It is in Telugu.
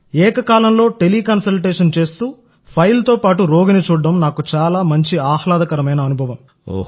ఏకకాలంలో టెలికన్సల్టేషన్ చేస్తూఫైల్తో పాటు రోగిని చూడటం నాకు చాలా మంచి ఆహ్లాదకరమైన అనుభవం